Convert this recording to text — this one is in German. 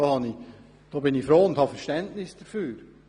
Ich bin froh darüber und habe Verständnis dafür.